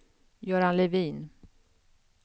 Göran Levin